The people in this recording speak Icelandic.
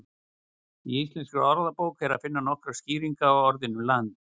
Í Íslenskri orðabók er að finna nokkrar skýringar á orðinu land.